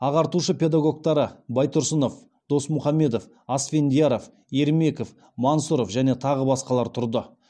ағартушы педагогтары байтұрсынов досмұхамедов асфендияров ермеков мансұров және тағы басқалар тұрды